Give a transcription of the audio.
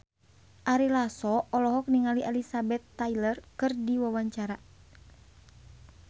Ari Lasso olohok ningali Elizabeth Taylor keur diwawancara